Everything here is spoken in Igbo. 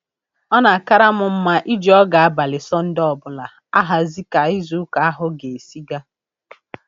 Ọ na-akara m mma iji oge abalị Sọnde ọbụla ahazi ka izu ụka ahụ ga-esi gaa